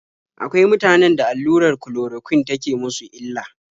Akwai mutanen da allurar kulorokwin take musu illa.